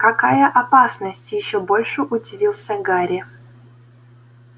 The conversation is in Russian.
какая опасность ещё больше удивился гарри